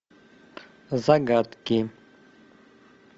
загадки